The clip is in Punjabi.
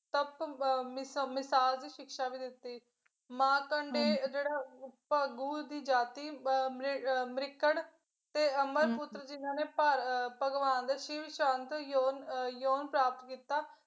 ਸਖਤ ਮਿਸ਼ ਮਿਸ਼ਾਲ ਦੀ ਸਿਕਸ਼ਾ ਵੀ ਦਿੱਤੀ ਮਾਰਕੰਡੇ ਜਿਹੜਾ ਭਾਗੁ ਦੀ ਜਾਤੀ ਵ ਅਹ ਮਰਿਕੰਡ ਦੇ ਅਮਰ ਪੁੱਤਰ ਜਿਨਾਂ ਨੇ ਭਾ ਭਗਵਾਨ ਦੇ ਸ਼ਿਵ ਸ਼ਾਂਤ ਜੋਨ ਪ੍ਰਾਪਤ ਕੀਤਾ।